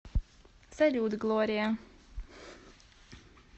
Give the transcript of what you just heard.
салют глория